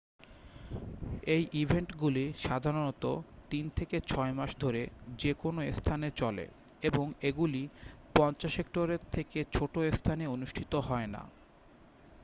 এই ইভেন্টগুলি সাধারণত তিন থেকে ছয় মাস ধরে যে কোনও স্থানে চলে এবং এগুলি 50 হেক্টরের থেকে ছোট স্থানে অনুষ্ঠিত হয় না